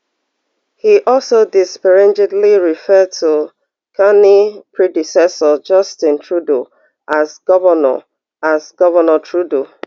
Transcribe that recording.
e also disparagingly refer to carney predecessor justin trudeau as governor as governor trudeau